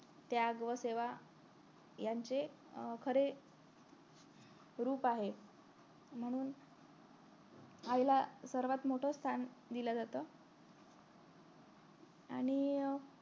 त्याग व सेवा यांचे अं खरे रूप आहे म्हणून आईला सर्वात मोठं स्थान दिल जात आणि